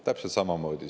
Täpselt samamoodi.